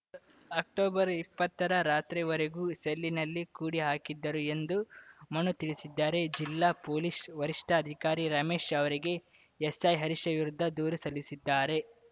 October ಇಪ್ಪತ್ತರ ರಾತ್ರಿವರೆಗೂ ಸೆಲ್‌ನಲ್ಲಿ ಕೂಡಿ ಹಾಕಿದ್ದರು ಎಂದು ಮನು ತಿಳಿಸಿದ್ದಾರೆ ಜಿಲ್ಲಾ ಪೊಲೀಸ್‌ ವರಿಷ್ಠಾಧಿಕಾರಿ ರಮೇಶ್‌ ಅವರಿಗೆ ಎಸ್‌ಐ ಹರೀಶ್‌ ವಿರುದ್ಧ ದೂರು ಸಲ್ಲಿಸಿದ್ದಾರೆ